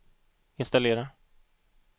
installera